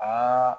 Aa